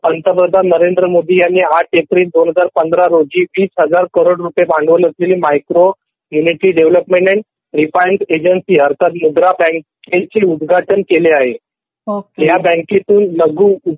पंतप्रधान नरेंद्र मोदी यांनी ८ एप्रिल २०१५ रोजी २००००करोड भांडवल असलेली मायक्रो युनिटी डेव्हलपमेंट आणि रिफायनड एजन्सी अर्थात मुद्रा बँकेंचे उद्घाटन केले आहे ह्या बँकेतून लघु